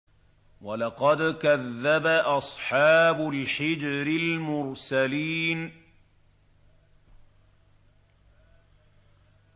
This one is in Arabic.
وَلَقَدْ كَذَّبَ أَصْحَابُ الْحِجْرِ الْمُرْسَلِينَ